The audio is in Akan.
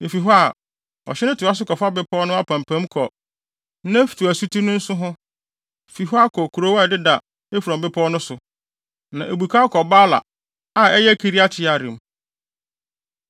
Efi hɔ a, ɔhye no toa so kɔfa bepɔw no apampam kɔ Neftoa asuti no nsu ho, fi hɔ akɔ nkurow a ɛdeda Efron bepɔw so no. Na ebukaw kɔ Baala (a ɛyɛ Kiriat-Yearim.)